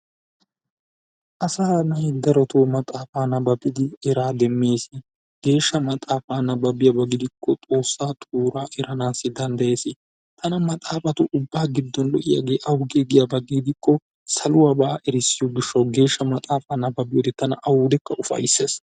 Asaa na'ay darootoo maxaafaa nababiidi eraa demees. Geeshsha maxaafaa nababiyaaba gidikko xoossaa xuuraa eraanassi dandayees. Tana maxaafatu ubbaa giddon lo"iyaagee awgee giyaaba gidikko saluwaaba erissiyoo giishshawu geeshsha maxaafaa nababiyoode tana awudekka ufayssees.